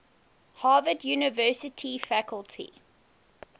harvard university faculty